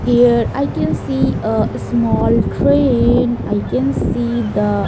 Here I can see a small train I can see the --